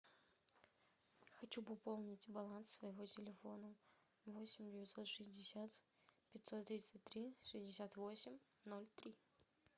хочу пополнить баланс своего телефона восемь девятьсот шестьдесят пятьсот тридцать три шестьдесят восемь ноль три